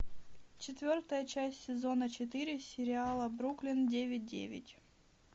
четвертая часть сезона четыре сериала бруклин девять девять